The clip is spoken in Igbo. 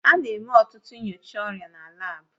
A na-eme ọtụtụ nyocha ọrịa na laabu